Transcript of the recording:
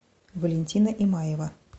валентина имаева